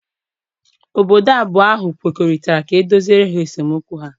Obodo abụọ ahụ kwekọrịtara ka e doziere ha esemokwu ha.